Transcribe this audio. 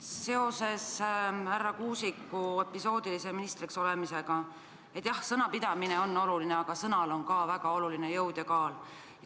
Seoses härra Kuusiku episoodilise ministriks olemisega: jah, sõnapidamine on oluline, aga sõnal on ka väga oluline jõud ja kaal.